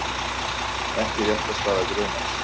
Ekki réttarstaða grunaðs